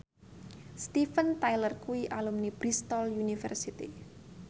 Steven Tyler kuwi alumni Bristol university